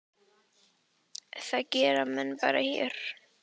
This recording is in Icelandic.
Það gera menn bara hér.